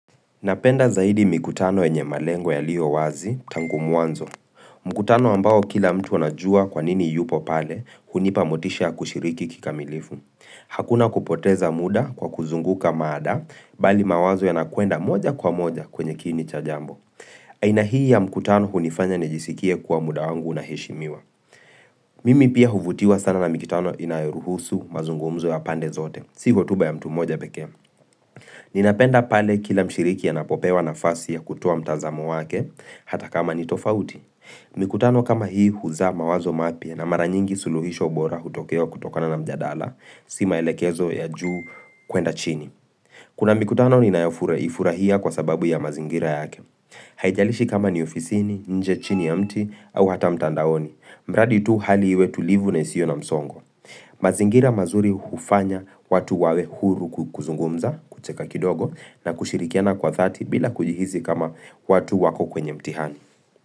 Napenda zaidi mikutano yenye malengo yaliyo wazi, tangu mwanzo. Mkutano ambao kila mtu anajua kwa nini yupo pale, hunipa motisha ya kushiriki kikamilifu. Hakuna kupoteza muda kwa kuzunguka mada, bali mawazo yanakwenda moja kwa moja kwenye kini cha jambo. Aina hii ya mkutano hunifanya nijisikie kwa muda wangu unaheshimiwa. Mimi pia huvutiwa sana na mikutano inayoruhusu mazungumzo ya pande zote, si hotuba ya mtu mmoja pekee. Ninapenda pale kila mshiriki anapopewa nafasi ya kutoa mtazamo wake hata kama ni tofauti Mikutano kama hii huzaa mawazo mapya na mara nyingi suluhisho bora hutokea kutokana na mjadala, si maelekezo ya juu kwenda chini Kuna mikutano ninayoifurahia kwa sababu ya mazingira yake Haijalishi kama ni ofisini, nje chini ya mti au hata mtandaoni, mradi tu hali iwe tulivu na isiyo na msongo mazingira mazuri hufanya watu wawe huru kuzungumza, kucheka kidogo na kushirikiana kwa dhati bila kujihisi kama watu wako kwenye mtihani.